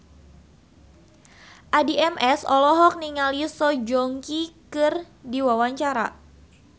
Addie MS olohok ningali Song Joong Ki keur diwawancara